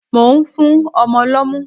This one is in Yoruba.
Mò ń fún ọmọ lọ́mú.